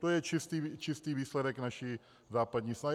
To je čistý výsledek naší západní snahy.